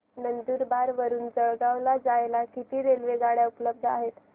नंदुरबार वरून जळगाव ला जायला किती रेलेवगाडया उपलब्ध आहेत